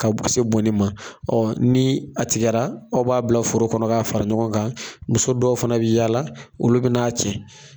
Ka bu se bɔnnen ma ni a tigɛra aw b'a bila foro kɔnɔ k'a fara ɲɔgɔn kan, muso dɔw fana bɛ yaala olu bɛ n'a cɛ.